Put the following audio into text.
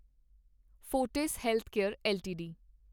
Fortis healthcare LTD